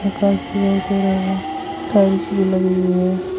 Customer tiles भी लगी हुई है।